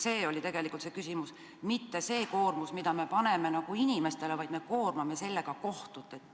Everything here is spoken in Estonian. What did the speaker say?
See oli tegelikult küsimus, küsimus ei olnud selle koormuse kohta, mille me paneme inimestele, vaid selle kohta, et me koormame kohtuid.